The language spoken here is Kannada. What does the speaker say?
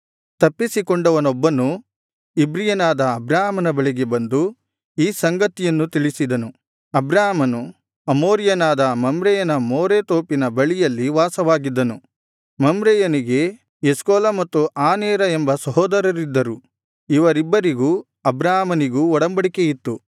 ತಪ್ಪಿಸಿಕೊಂಡವನೊಬ್ಬನು ಇಬ್ರಿಯನಾದ ಅಬ್ರಾಮನ ಬಳಿಗೆ ಬಂದು ಈ ಸಂಗತಿಯನ್ನು ತಿಳಿಸಿದನು ಅಬ್ರಾಮನು ಅಮೋರಿಯನಾದ ಮಮ್ರೆಯನ ಮೋರೆ ತೋಪಿನ ಬಳಿಯಲ್ಲಿ ವಾಸವಾಗಿದ್ದನು ಮಮ್ರೆಯನಿಗೆ ಎಷ್ಕೋಲ ಮತ್ತು ಆನೇರ ಎಂಬ ಸಹೋದರರಿದ್ದರು ಇವರಿಬ್ಬರಿಗೂ ಅಬ್ರಾಮನಿಗೂ ಒಡಂಬಡಿಕೆಯಿತ್ತು